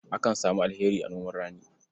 Akan samu alheri a noman rani.